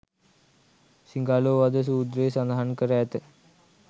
සිඟාලෝවාද සූත්‍රයේ සදහන් කර ඇත.